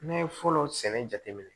N'a ye fɔlɔ sɛnɛ jate minɛ